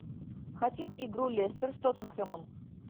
хотим игру лестер с тоттенхэмом